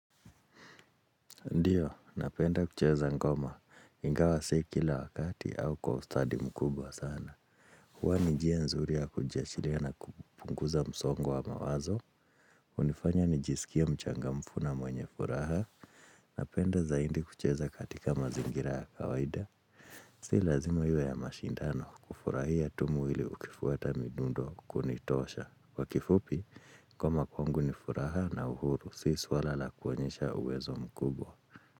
Ndiyo, napenda kucheza ngoma. Ingawa sii kila wakati au kwa ustadi mkubwa sana. Huwa nijia nzuri ya kujiachilia na kupunguza msongo wa mawazo. Unifanya nijisikie mchangamfu na mwenye furaha. Napenda zaidi kucheza katika mazingira ya kawaida. Sii lazimo iwe ya mashindano kufurahia tu muhili ukifuata midundo kunitosha. Kwa kifupi, kwa makuangu ni furaha na uhuru, sii swala la kuwonyesha uwezo mkubwa.